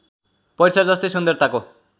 परिसर जस्तै सुन्दरताको